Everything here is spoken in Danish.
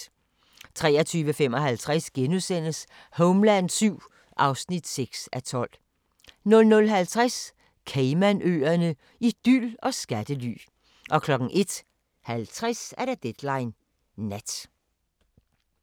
23:55: Homeland VII (6:12)* 00:50: Caymanøerne – idyl og skattely 01:50: Deadline Nat